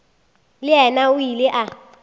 le yena o ile a